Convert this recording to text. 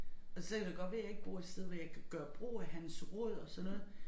Og så kan det godt være jeg ikke bor et sted hvor jeg kan gøre brug af hans råd og sådan noget